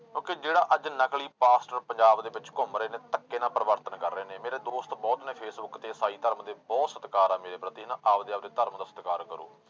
ਕਿਉਂਕਿ ਜਿਹੜਾ ਅੱਜ ਨਕਲੀ ਪਾਸਟਰ ਪੰਜਾਬ ਦੇ ਵਿੱਚ ਘੁੰਮ ਰਹੇ ਨੇ ਧੱਕੇ ਨਾਲ ਪਰਿਵਰਤਨ ਕਰ ਰਹੇ ਨੇ, ਮੇਰੇ ਦੋਸਤ ਬਹੁਤ ਨੇ ਫੇਸਬੁੱਕ ਤੇ ਇਸਾਈ ਧਰਮ ਦੇ ਬਹੁਤ ਸਤਿਕਾਰ ਆ ਮੇਰੇ ਪ੍ਰਤੀ ਹਨਾ, ਆਪਦੇ ਆਪਦੇ ਧਰਮ ਦਾ ਸਤਿਕਾਰ ਕਰੋ।